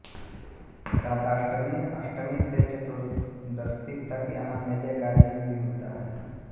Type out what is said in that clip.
राधाष्टमी अष्टमी से चतुर्दशी तक यहां मेले का आयोजन भी होता है